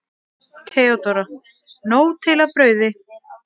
THEODÓRA: Nóg til af brauði!